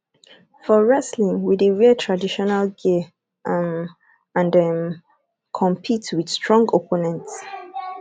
for wrestling we dey wear traditional gear um and um compete with strong opponents